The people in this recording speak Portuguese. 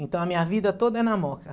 Então, a minha vida toda é na Moca.